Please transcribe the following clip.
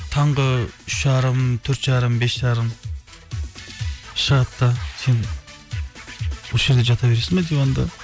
таңғы үш жарым төрт жарым бес жарым шығады да сен осы жерде жата бересің бе диванда